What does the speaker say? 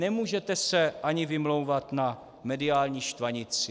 Nemůžete se ani vymlouvat na mediální štvanici.